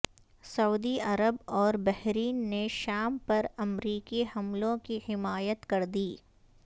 سعودی Arab اور Bahrain نے شام پر امریکی حملوں کی حمایت کردی